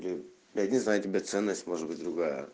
я я не знаю тебя ценность может быть другая